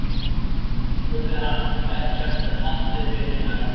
spurði hann: Ekkert haldreipi eiginlega.